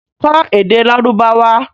Kọ́ èdè Lárúbáwá!